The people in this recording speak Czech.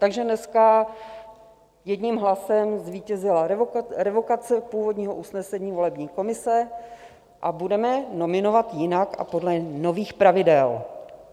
Takže dneska jedním hlasem zvítězila revokace původního usnesení volební komise a budeme nominovat jinak a podle nových pravidel.